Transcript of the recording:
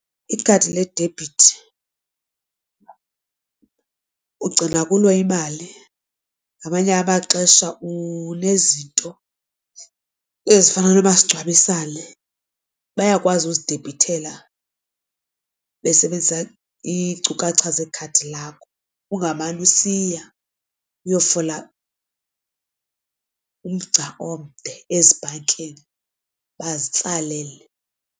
Ikhadi ledebhithi ugcina kulo imali ngamanye amaxesha unezinto ezifana nomasingcwabisane bayakwazi uzidebhithela besebenzisa iinkcukacha zekhadi lakho, ungamane usiya uyofola umgca omde ezibhankini bazitsalele.